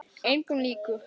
Engum líkur.